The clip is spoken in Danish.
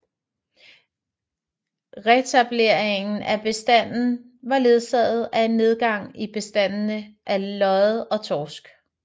Retableringen af bestanden var ledsaget af en nedgang i bestandene af lodde og torsk